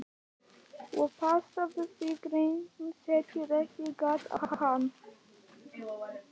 Og passaðu þig að hrekkjusvínin setji ekki gat á hana.